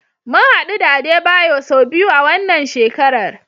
Mun hadu da Adebayo sau biyu a wannan shekarar.